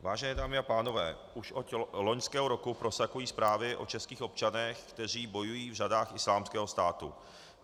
Vážené dámy a pánové, už od loňského roku prosakují zprávy o českých občanech, kteří bojují v řadách Islámského státu.